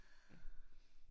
Ja